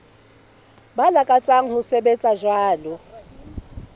ba lakatsang ho sebetsa jwalo